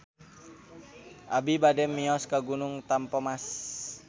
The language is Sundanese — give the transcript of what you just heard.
Abi bade mios ka Gunung Tampomas